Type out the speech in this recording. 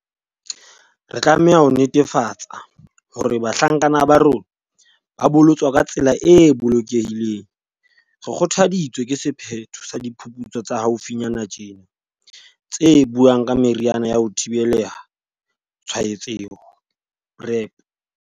Re tlameha ho netefatsa hore bahlankana ba rona ba bolotswa ka tsela e bolokehileng. Re kgothaditswe ke sephetho sa diphuputsu tsa haufi nyana tjena tse buang ka meriana ya ho thibela tshwaetseha, PrEP.